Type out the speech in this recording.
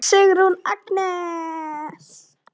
Sigrún Agnes.